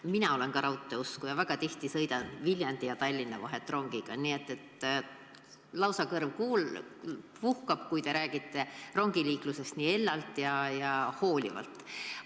Ka mina olen raudteeusku ja sõidan väga tihti Viljandi ja Tallinna vahet rongiga, nii et mul kõrv lausa puhkab, kui te rongiliiklusest nii hellalt ja hoolivalt räägite.